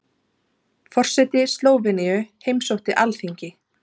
Forseti Slóveníu heimsótti Alþingi